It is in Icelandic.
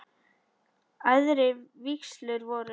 Æðri vígslur voru